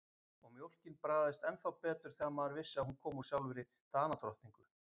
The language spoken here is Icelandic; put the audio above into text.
Og mjólkin bragðaðist ennþá betur þegar maður vissi að hún kom úr sjálfri Danadrottningu.